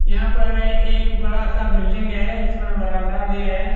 यहां पर एक बड़ा सा बिल्डिंग है इसमें बरांडा भी है।